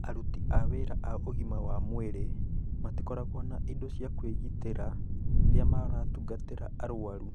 Aruti awĩra a ũgima wa mwĩrĩ matikoragwo na indo cia kwĩgitĩra rĩrĩa maratungatĩra arũaru.